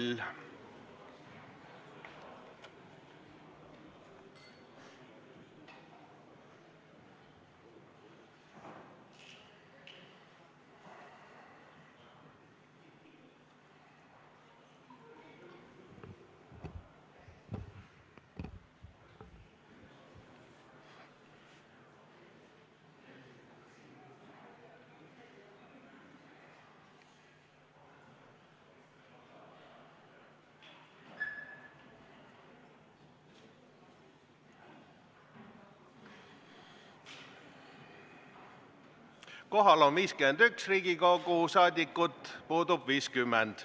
Kohaloleku kontroll Kohal on 51 Riigikogu liiget, puudub 50.